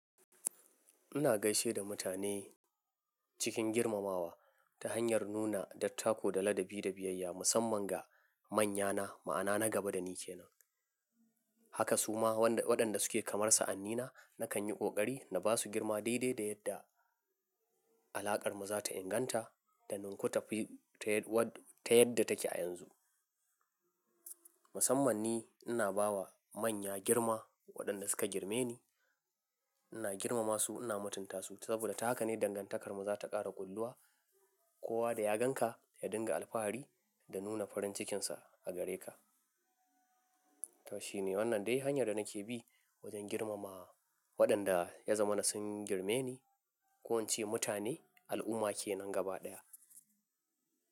Ina gaishe da mutane cikin girmamawa ta hanyar nuna dattako da ladabi da biyayya musamman ga manyana ma'ana na gaba da ni kenan. Haka suma waɗanda suke kamar sa'annina nakan yi ƙoƙari na ba su girma daidai da yadda alaƙarmu za ta inganta ta ninku tafi ta yadda take a yanzu. Musamman ni ina ba wa manya girma waɗanda suka girme ni. Ina girmama su, ina mutunta su saboda ta haka ne dangantakarmu za ta ƙara kulluwa. Kowa da ya gan ka ya dinga alfahari da nuna farin cikinsa a gare ka. Tashi ne wannan dai hanyar da nake bi wajen girmama waɗanda ya zama na sun girme ni. Ko ince mutane al'umma kenan gaba ɗaya.